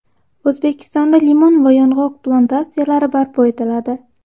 O‘zbekistonda limon va yong‘oq plantatsiyalari barpo etiladi.